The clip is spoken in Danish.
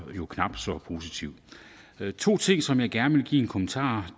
knap så positivt der er to ting som jeg gerne vil give en kommentar